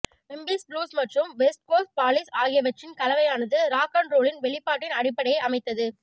Memphis blues மற்றும் west coast polish ஆகியவற்றின் கலவையானது ராக் அண்ட் ரோலின் வெளிப்பாட்டின் அடிப்படையை அமைத்தது